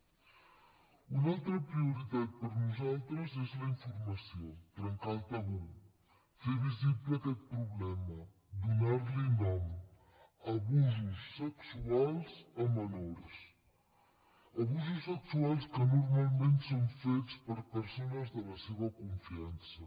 una altra prioritat per nosaltres és la informació trencar el tabú fer visible aquest problema donar li nom abusos sexuals a menors abusos sexuals que normalment són fets per persones de la seva confiança